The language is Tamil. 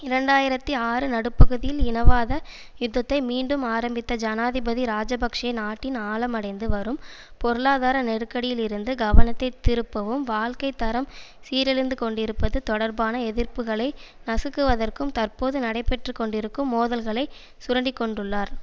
இரண்டாயிரத்தி ஆறு நடுப்பகுதியில் இனவாத யுத்தத்தை மீண்டும் ஆரம்பித்த ஜனாதிபதி இராஜபக்ஷ நாட்டின் ஆழமடைந்து வரும் பொருளாதார நெருக்கடியில் இருந்து கவனத்தை திருப்பவும் வாழ்க்கை தரம் சீரழிந்து கொண்டிருப்பது தொடர்பான எதிர்ப்புக்களை நசுக்குவதற்கும் தற்போது நடைபெற்று கொண்டிருக்கும் மோதல்களை சுரண்டிக்கொண்டுள்ளார்